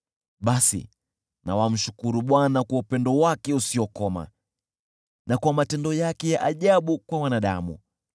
Basi na wamshukuru Bwana kwa upendo wake usiokoma, na kwa matendo yake ya ajabu kwa wanadamu,